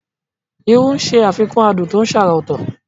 Irú ń ṣe àfikún adùn tó ṣàrà ọ̀tọ̀.